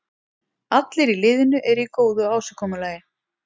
Allir í liðinu eru í góðu ásigkomulagi.